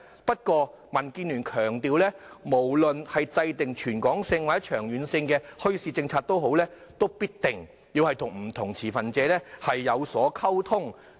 不過，民建聯強調，無論制訂全港或長遠的墟市政策，也必定要與不同持份者溝通。